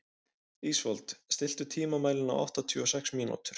Ísfold, stilltu tímamælinn á áttatíu og sex mínútur.